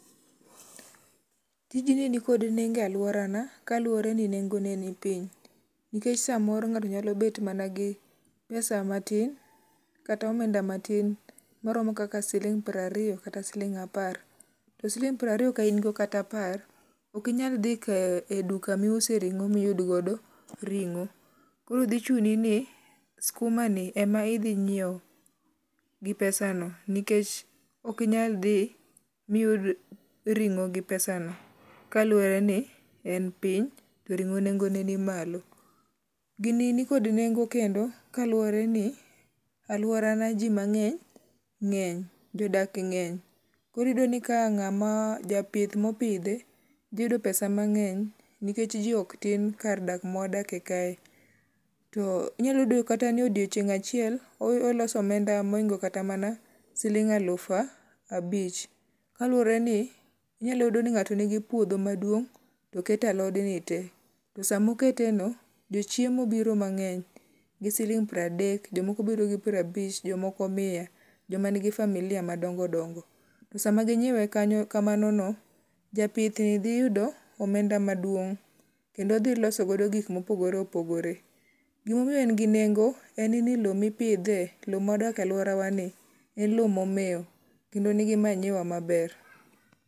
Tij ni ni kod nengo e aluora na kaluwore ni nengo ne ni piny. Nikech samoro ng'ato nyalo bet mana gi pesa matin kata omenda matin maromo kaka siling' piero ariyo kata siling' apar. To siling' piero ariyo ka ingo kata apar ok inyal dhi e duka miuse ring'o miyud godo ring'o. Koro dhi chuni ni skuma ni ema idhi ngiew gi pesano nikech ok inyal dhi miyud ring'o gi pesano kaluwore ni en piny to ring'o nengo ne ni malo. Gini ni kod nengo kendo kaluwore ni aluora na ji mang'eny ng'eny jodak ng'eny. Koro iyudo ni ka ng'ama japith mopidhe dhi yudo pesa mang'eny nikech ji ok tin kar dak ma wadakie kae. To inyalo yudo kata ni odiochieng' achiel oloso omenda moingo kata mana siling' alufu abich kaluwore ni inyalo yudo ni ng'ato nigi puodho maduong' to okete alod ni te . To samo kete no, jo chiemo biro mang'eny gi siling' pradek jomoko biro gi prabich jomoko mia. Joma nigi familia madingo dongo. To sama ginyiewe kamano no japith ni ghi yudo omenda maduong' kendo odhi loso godo gik mopogore opogore. Gimomiyo en gi nengo en ni low mipidhe low ma dake aluorawa ni en low momew kendo en gi manyiwa maber.